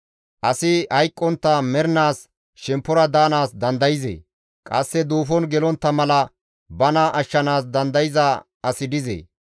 Asi hayqqontta mernaas shemppora paxa daanaas dandayzee? Qasse duufon gelontta mala bana ashshanaas dandayza asi dizee?